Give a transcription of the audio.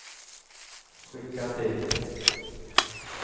skicka till